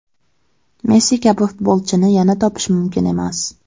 Messi kabi futbolchini yana topish mumkin emas.